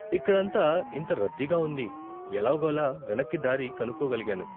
ఇక్కడంతా ఇంత రద్దీగా ఉంది, ఎలాగోలా వెనక్కి దారి కనుక్కోగలిగాను.